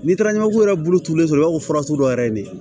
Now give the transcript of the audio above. N'i taara ɲamanku yɛrɛ bolo turulen don i b'a fɔ fura sugu dɔ yɛrɛ ye ne ye